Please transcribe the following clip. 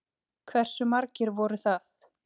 Hversu margir voru það?